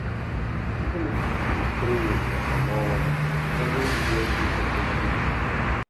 even if the spraying na small one always wear full protective gear